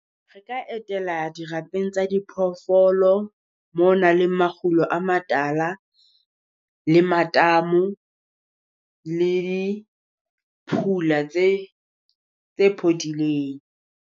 Re ka etela dirapeng tsa diphoofolo mo nang le makgulo a matala, le matamo le phula tse tse phodileng.